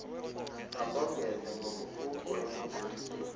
makongeze ngokukuko ekucebiseni